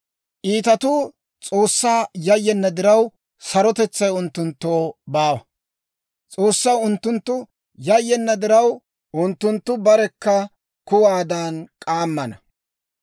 Iitatuu S'oossaa yayyenna diraw, sarotetsay unttunttoo baawa; S'oossaw unttunttu yayyenna diraw, unttunttu barekka kuwaadan k'aammana.